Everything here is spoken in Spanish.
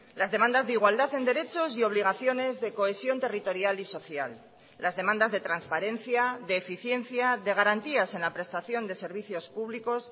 las demandas de igualdad en derechos y obligaciones de cohesión territorial y social las demandas de transparencia de eficiencia de garantías en la prestación de servicios públicos